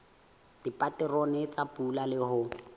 dipaterone tsa pula le ho